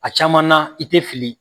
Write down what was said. A caman na i tɛ fili.